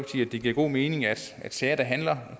det giver god mening at sager der handler